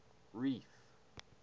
reef